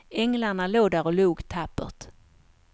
Änglarna låg där och log tappert.